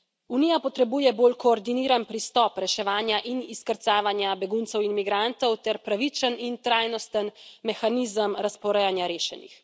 Unija potrebuje bolj koordiniran pristop reševanja in izkrcavanja beguncev in migrantov ter pravičen in trajnosten mehanizem razporejanja rešenih.